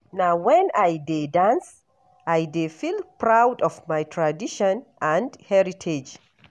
Na wen I dey dance, I dey feel proud of my tradition and heritage.